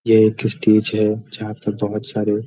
ये एक स्टेज है जहाँ पर बहुत सारे --